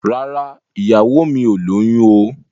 Rárá, ìyàwó mi ò lóyún o.